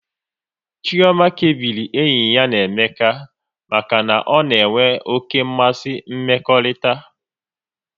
Chioma kebiri enyi ya na Emeka maka na ọ na-enwe oké mmasị mmekọrịta